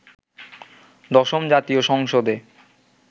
দশম জাতীয় সংসদে